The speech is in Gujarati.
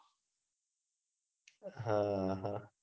હા હા